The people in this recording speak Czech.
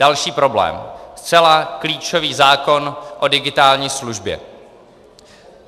Další problém: zcela klíčový zákon o digitální službě.